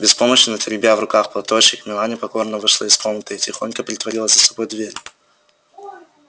беспомощно теребя в руках платочёк мелани покорно вышла из комнаты и тихонько притворила за собой дверь